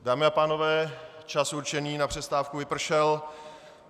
Dámy a pánové, čas určený na přestávku vypršel.